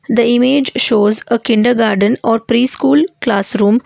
The image shows a kindergarden or pre school classroom.